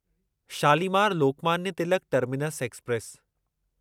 Shalimar Lokmanya Tilak terminus express